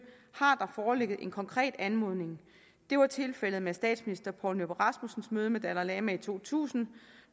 har der foreligget en konkret anmodning det var tilfældet med statsminister poul nyrup rasmussens møde med dalai lama i to tusind